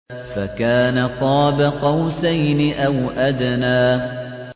فَكَانَ قَابَ قَوْسَيْنِ أَوْ أَدْنَىٰ